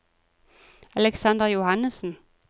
Alexander Johannesen